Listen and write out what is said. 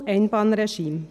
Zum Einbahnregime.